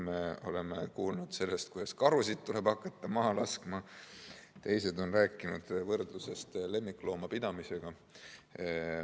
Me oleme siin kuulnud sellest, et karusid tuleb hakata maha laskma, teised on rääkinud võrdlusest lemmikloomapidamisega.